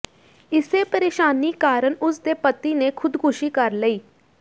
ਇਸੇ ਪ੍ਰੇਸ਼ਾਨੀ ਕਾਰਨ ਉਸ ਦੇ ਪਤੀ ਨੇ ਖ਼ੁਦਕੁਸ਼ੀ ਕਰ ਲਈ